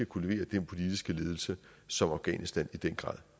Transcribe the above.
kunne levere den politiske ledelse som afghanistan i den grad